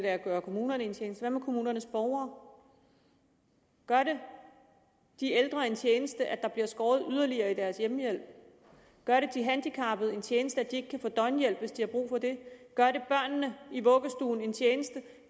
at gøre kommunerne en tjeneste men hvad med kommunernes borgere gør det de ældre en tjeneste at der bliver skåret yderligere ned i deres hjemmehjælp gør det de handicappede en tjeneste at de ikke kan få døgnhjælp hvis de har brug for det gør det børnene i vuggestuen en tjeneste